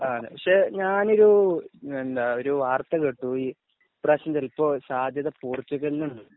ആ അതെ പക്ഷെ ഞ ഞാനൊരു എന്താ ഞാൻ ഒരു വാർത്ത കേട്ടു ഈ പ്രാവശ്യം ചിലപ്പോൾ സാത്യത പോർച്ചുഗൽ ആണ്